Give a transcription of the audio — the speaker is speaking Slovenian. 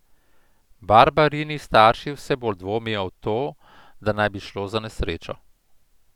Barbarini starši vse bolj dvomijo v to, da naj bi šlo za nesrečo.